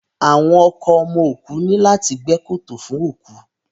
Àwọn ọkọ ọmọ òkú ní láti gbẹ́ kòtò fún òkú